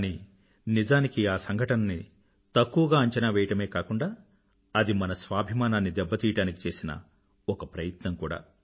కానీ నిజానికి ఆ సంఘటనని తక్కువగా అంచనా వేయడమే కాకుండా అది మన స్వాభిమానాన్ని దెబ్బ తీయడానికి చేసిన ఒక ప్రయత్నం కూడా